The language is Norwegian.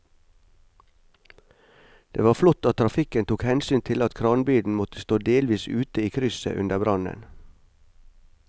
Det var flott at trafikken tok hensyn til at kranbilen måtte stå delvis ute i krysset under brannen.